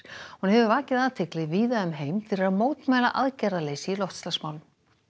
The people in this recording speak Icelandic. hún hefur vakið athygli víða um heim fyrir að mótmæla aðgerðaleysi í loftslagsmálum